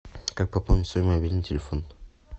как пополнить свой мобильный телефон